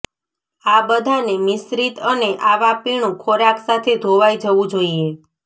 આ બધાને મિશ્રિત અને આવા પીણું ખોરાક સાથે ધોવાઇ જવું જોઈએ